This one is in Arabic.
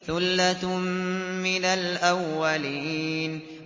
ثُلَّةٌ مِّنَ الْأَوَّلِينَ